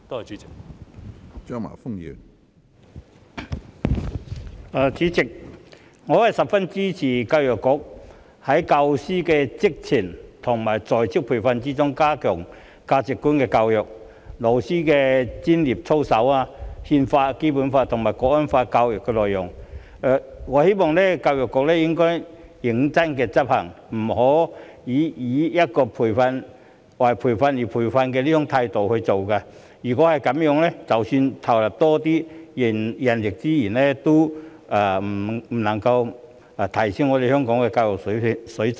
主席，我十分支持教育局在教師的職前和在職培訓中加強價值觀的教育、老師的專業操守、《憲法》、《基本法》及《香港國安法》教育的內容，我希望教育局應該認真執行，不要以"為培訓而培訓"這種態度來做，否則即使投入更多人力資源，也不能夠提升香港的教育水準。